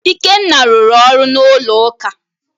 Ikenna rụrụ ọrụ n’ụlọ ụka.